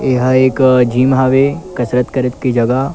ये एक जिम हवे कसरत करे के जगह--